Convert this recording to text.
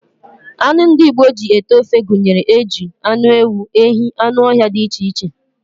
Anụ ndị Igbo ji ete ofe gụnyere eju, anụ ewu, ehi, anụ ọhịa dị iche iche